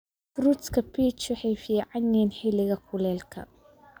Fruits ka peach waxay fiican yihiin xilliga kuleylka.